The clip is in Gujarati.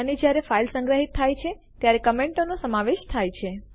અને જ્યારે ફાઈલ સંગ્રહિત થાય છે ત્યારે કમેન્ટો ટિપ્પણીઓ નો સમાવેશ થાય છે